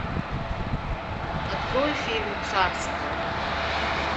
открой фильм царство